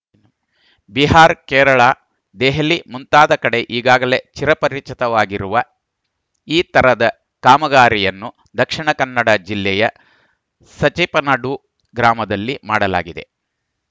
ಬಿಹಾರ್ ಕೇರಳ ದೆಹಲಿ ಮುಂತಾದ ಕಡೆ ಈಗಾಗಲೇ ಚಿರಪರಿಚಿತವಾಗಿರುವ ಈ ತರದ ಕಾಮಗಾರಿಯನ್ನು ದಕ್ಷಿಣ ಕನ್ನಡ ಜಿಲ್ಲೆಯ ಸಜಿಪನಡು ಗ್ರಾಮದಲ್ಲಿ ಮಾಡಲಾಗಿದೆ